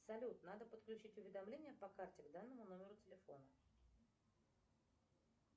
салют надо подключить уведомления по карте к данному номеру телефона